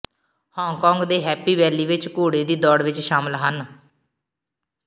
Hong Kong ਦੇ Happy Valley ਵਿਚ ਘੋੜੇ ਦੀ ਦੌੜ ਵਿਚ ਸ਼ਾਮਲ ਹਨ